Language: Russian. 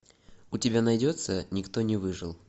у тебя найдется никто не выжил